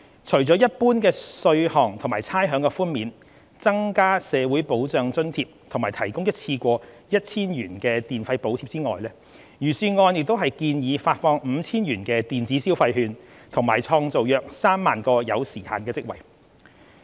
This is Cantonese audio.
除了一般稅項和差餉的寬免、增加社會保障津貼和提供一次過 1,000 元電費補貼外，預算案亦建議發放 5,000 元電子消費券及創造約3萬個有時限職位。